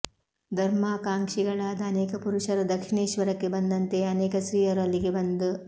ಧರ್ಮಕಾಂಕ್ಷಿಗಳಾದ ಅನೇಕ ಪುರುಷರು ದಕ್ಷಿಣೇಶ್ವರಕ್ಕೆ ಬಂದಂತೆಯೇ ಅನೇಕ ಸ್ತ್ರೀಯರೂ ಅಲ್ಲಿಗೆ ಬಂದು